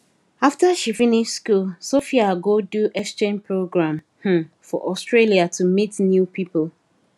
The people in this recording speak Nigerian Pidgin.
after she finish school sophia go do exchange program um for australia to meet new people